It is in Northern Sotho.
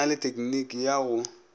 na le tekniki ya go